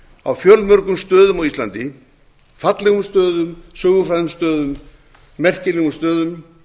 á fjölmörgum stöðum á íslandi fallegum stöðum sögufrægum stöðum merkilegum stöðum